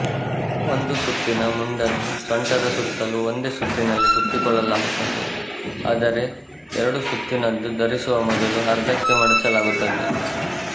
ಒಂದು ಸುತ್ತಿನ ಮುಂಡನ್ನು ಸೊಂಟದ ಸುತ್ತಲೂ ಒಂದೇ ಸುತ್ತಿನಲ್ಲಿ ಸುತ್ತಿಕೊಳ್ಳಲಾಗುತ್ತದೆ ಆದರೆ ಎರಡು ಸುತ್ತಿನದ್ದನ್ನು ಧರಿಸುವ ಮೊದಲು ಅರ್ಧಕ್ಕೆ ಮಡಚಲಾಗುತ್ತದೆ